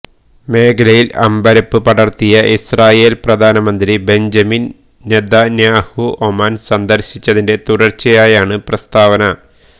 മേഖലയിൽ അമ്പരപ്പ് പടർത്തി ഇസ്രായേൽ പ്രധാനമന്ത്രി ബെഞ്ചമിൻ നെതന്യാഹു ഒമാൻ സന്ദർശിച്ചതിന്റെ തുടർച്ചയായാണ് പ്രസ്താവന